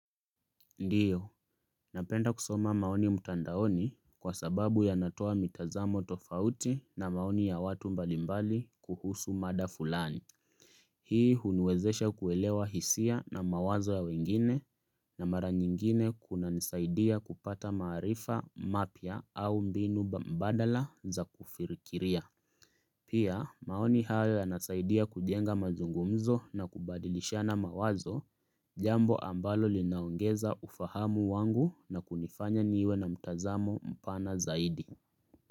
Ndiyo, napenda kusoma maoni mtandaoni kwa sababu yanatoa mitazamo tofauti na maoni ya watu mbalimbali kuhusu mada fulani. Hii huniwezesha kuelewa hisia na mawazo ya wengine na mara nyingine kuna nisaidia kupata maarifa mapya au mbinu mbadala za kufirikiria. Pia maoni haya yanasaidia kujenga mazungumzo na kubadilisha na mawazo. Jambo ambalo linaongeza ufahamu wangu na kunifanya niwe na mtazamo mpana zaidi.